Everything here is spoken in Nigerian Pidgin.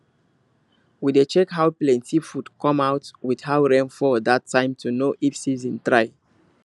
we dey check how plenty food come out with how rain fall that time to know if season try